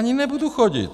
Ani nebudu chodit.